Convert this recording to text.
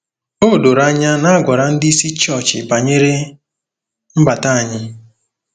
O doro anya na a gwara ndị isi chọọchị banyere mbata anyị.